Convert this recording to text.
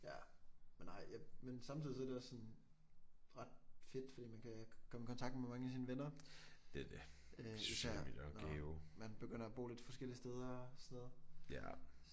Ja men nej men samtidig så er det også sådan ret fedt fordi man kan komme i kontakt med mange af sine venner øh især når man begynder at bo lidt forskellige steder så